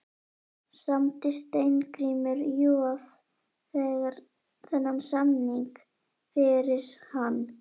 Samdi Steingrímur Joð þennan samning fyrir hann?